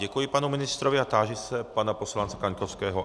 Děkuji panu ministrovi a táži se pana poslance Kaňkovského...